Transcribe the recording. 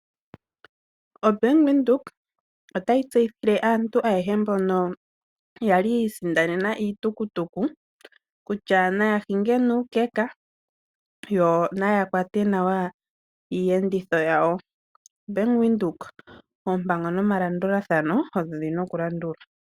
OBank Windhoek otayi tseyithile aantu ayehe mbono yali yi isindanena iitukutuku kutya naya hinge nuukeka, yo naya kwate nawa iihenditho yawo. Bank Windhoek, oompango nomalandulathano odho dhina oku landulwa.